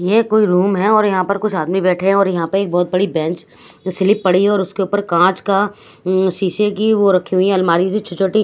ये कोई रूम है और यहां पर कुछ आदमी बैठे हैं और यहां पे एक बहुत बड़ी बेंच जो स्लिप पड़ी और उसके ऊपर कांच का उम्म शीशे की वो रखी हुई है अलमारी सी छो छोटी।